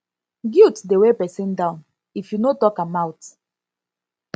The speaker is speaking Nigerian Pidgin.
guilt dey weigh person down if you no talk am out